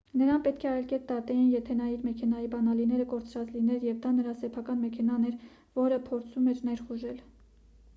նրան պետք է այլ կերպ դատեին եթե նա իր մեքենայի բանալիները կորցրած լիներ և դա նրա սեփական մեքենան էր որը փորձում էր ներխուժել